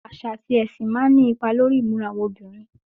Àṣà àti ẹṣin máa ní ipa lórí ìmúra àwọn obìnrin.